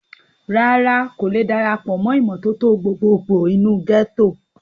rárá, kò le darapọ̀ mọ́ ìmọ́tótó gbogbo gbò nínú gẹ́tò